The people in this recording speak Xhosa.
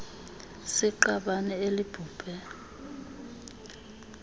s iqabane elibhubhe